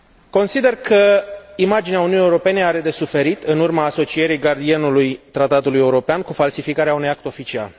Consider că imaginea Uniunii Europene are de suferit în urma asocierii gardianului tratatului european cu falsificarea unui act oficial.